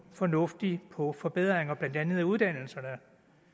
fornuftigt på forbedringer af blandt andet uddannelserne